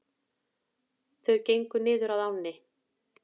Þau gengu niður að ánni.